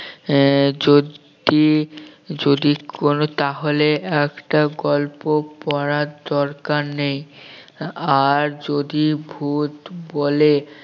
আহ যদি যদি করো তাহলে একটা গল্প পড়ার দরকার নেই আর যদি ভূত বলে